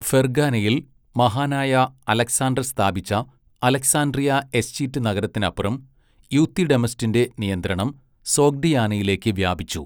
ഫെർഗാനയിൽ മഹാനായ അലക്സാണ്ടർ സ്ഥാപിച്ച Alexandria Eschate നഗരത്തിനപ്പുറം, യൂത്തിഡെമസിന്റെ നിയന്ത്രണം സോഗ്ഡിയാനയിലേക്ക് വ്യാപിച്ചു.